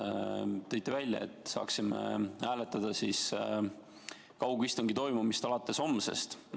Tõite välja, et saaksime hääletada kaugistungi toimumist alates homsest.